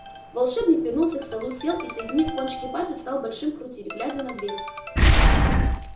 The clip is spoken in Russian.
волшебник вернулся к столу сел и соединив кончики пальцев стал большими крутить глядя на дверь